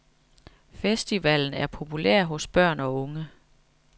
Festivalen er populær hos børn og unge.